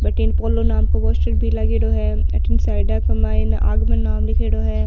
बठन पोलो नाम को पोस्टर भी लागेड़ो है अठन साइड के माय आगमन नाम लिखेड़ो है।